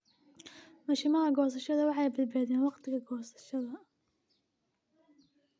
Mashiinnada goosashada waxay badbaadiyaan wakhtiga goosashada.